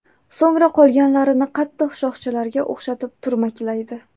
So‘ngra qolganlarini qattiq shoxchalarga o‘xshatib turmaklaydi.